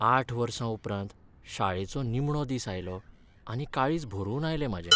आठ वर्सां उपरांत शाळेचो निमणो दीस आयलो आनी काळीज भरून आयलें म्हाजें.